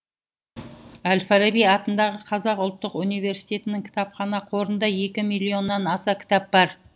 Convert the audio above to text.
әл фараби атындағы қазақ ұлттық университетінің кітапхана қорында екі миллионнан аса кітап бар